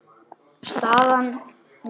Staðan mín?